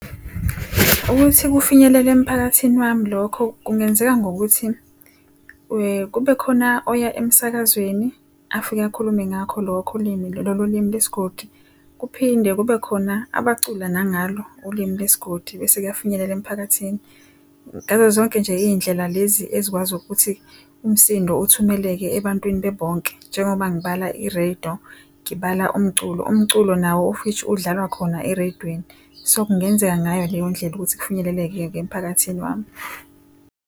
Ukuthi kufinyelele emphakathini wami lokho kungenzeka ngokuthi kube khona oya emsakazweni afike akhulume ngakho lokho ulimi lolo ulimi lesigodi. Kuphinde kube khona abacula nangalo ulimi lesigodi bese kuyafinyelela emphakathini. Ngazo zonke nje iy'ndlela lezi ezikwazi ukuthi umsindo uthumeleke ebantwini bebonke. Njengoba ngibala i-radio, ngibala umculo. Umculo nawo of which udlalwa khona ereyidweni. So kungenzeka ngayo leyo ndlela ukuthi kufinyelele-ke emphakathini wami.